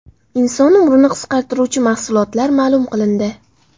Inson umrini qisqartiruvchi mahsulotlar ma’lum qilindi.